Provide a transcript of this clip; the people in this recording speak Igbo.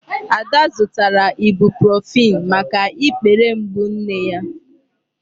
Ada zụtara Ibuprofen maka ikpere mgbu nne ya.